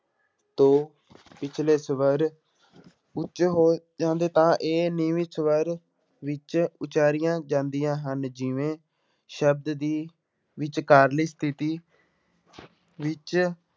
ਤੋਂ ਪਿੱਛਲੇ ਸਵਰ ਉੱਚ ਹੋ ਜਾਂਦੇ ਤਾਂ ਇਹ ਨੀਵੀਂ ਸਵਰ ਵਿੱਚ ਉਚਾਰੀਆਂ ਜਾਂਦੀਆਂ ਹਨ ਜਿਵੇਂ ਸ਼ਬਦ ਦੀ ਵਿਚਕਾਰਲੀ ਸਥਿੱਤੀ ਵਿੱਚ